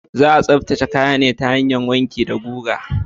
Za a tsaftace kaya ne ta hanyar wanki da guga.